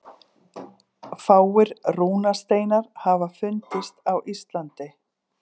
Fáir rúnasteinar hafa fundist á Íslandi.